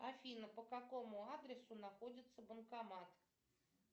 афина по какому адресу находится банкомат